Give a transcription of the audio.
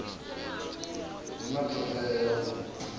hu na todea ya u